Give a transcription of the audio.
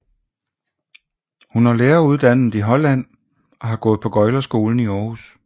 Hun er læreruddannet i Holland og har gået på Gøglerskolen i Århus